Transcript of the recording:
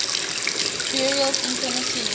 burials in tennessee